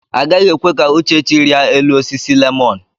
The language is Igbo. Agaghị ekwe ka Uchechi rịa elu osisi lemọn.